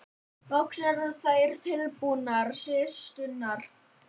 Loks eru þær tilbúnar systurnar.